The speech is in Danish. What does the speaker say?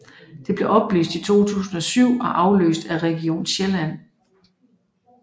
Det blev opløst i 2007 og afløst af Region Sjælland